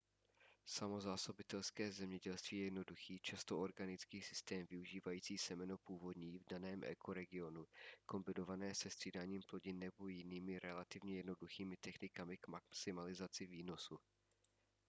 samozásobitelské zemědělství je jednoduchý často organický systém využívající semeno původní v daném ekoregionu kombinované se střídáním plodin nebo jinými relativně jednoduchými technikami k maximalizaci výnosu